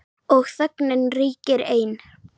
Og þögnin ríkir ein.